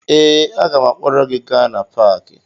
Ee, aga m akpọrọ gị gaa na paakị